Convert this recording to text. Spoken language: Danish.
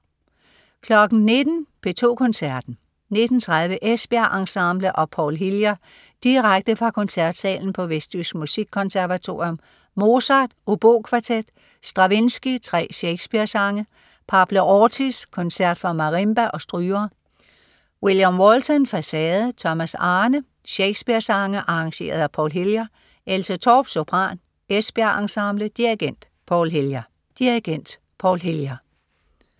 19.00 P2 Koncerten. 19.30 Esbjerg Ensemble og Paul Hillier. Direkte fra koncertsalen på Vestjysk Musikkonservatorium. Mozart: Obokvartet. Stravinskij: 3 Shakespeare-sange. Pablo Ortiz: Koncert for marimba og strygere. William Walton: Façade. Thomas Arne: Shakespeare-sange arrangeret af Paul Hillier. Else Torp, sopran. Esbjerg Ensemble. Dirigent: Paul Hillier